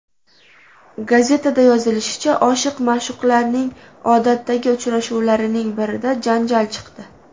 Gazetada yozilishicha, oshiq-ma’shuqlarning odatdagi uchrashuvlarining birida janjal chiqdi.